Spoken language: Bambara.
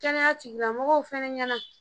Kɛnɛya tigilamɔgɔw fana ɲɛna.